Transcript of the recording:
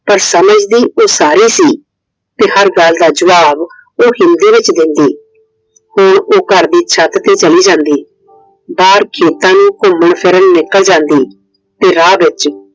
ਪਰ ਸਮਝਦੀ ਉਹ ਸਾਰੀ ਸੀ I ਤੇ ਹਰ ਗੱਲ ਦਾ ਜਵਾਬ ਉਹ ਹਿੰਦੀ ਵਿੱਚ ਦਿੰਦੀ। ਹੁਣ ਉਹ ਘਰ ਦੀ ਛੱਤ ਤੇ ਚਲੀ ਜਾਂਦੀ। ਬਾਹਰ ਖੇਤਾਂ ਵਿਚ ਘੁੰਮਣ ਫਿਰਨ ਨਿਕਲ ਜਾਂਦੀ। ਤੇ ਰਾਹ ਵਿੱਚ